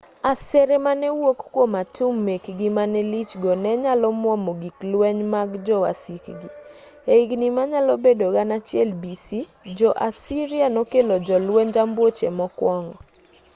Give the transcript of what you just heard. asere mane wuok kwom atum mekgi mane lich go ne nyalo mwomo gig lweny mag jo wasikgi. e higni manyalo bedo 1000 b. c. . jo-assyria nokelo jolwenj ambuoche mokwongo